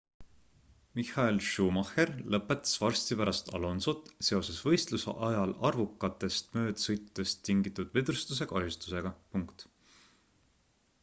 michael schumacher lõpetas varsti pärast alonsot seoses võistluse ajal arvukatest möödasõitudest tingitud vedrustuse kahjustustega